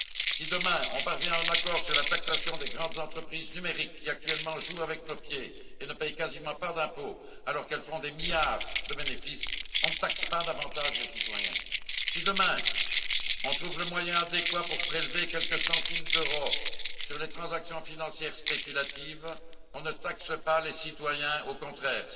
Si, demain, on parvient à un accord sur la taxation des grandes entreprises numériques qui, actuellement, jouent avec nos pieds et ne paient quasiment pas d'impôts, alors qu'elles font des milliards de bénéfices, on ne taxe pas davantage les citoyens. Si, demain, on trouve le moyen adéquat pour prélever quelques centimes d'euros sur les transactions financières spéculatives, on ne taxe pas les citoyens, au contraire.